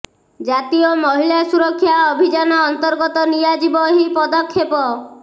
ଜାତୀୟ ମହିଳା ସୁରକ୍ଷା ଅଭିଯାନ ଅନ୍ତର୍ଗତ ନିଆଯିବ ଏହି ପଦକ୍ଷେପ